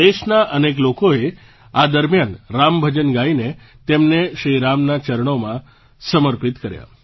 દેશના અનેક લોકોએ આ દરમિયાન રામ ભજન ગાઈને તેમને શ્રી રામનાંચરણોમાં સમર્પિત કર્યાં